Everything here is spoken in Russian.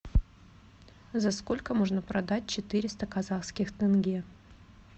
за сколько можно продать четыреста казахских тенге